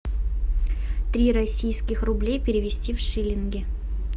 три российских рублей перевести в шиллинги